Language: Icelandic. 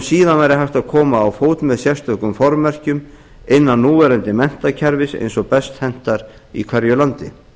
síðan væri hægt að koma á fót með sérstökum formerkjum innan núverandi menntakerfis eins og best hentar í hverju landi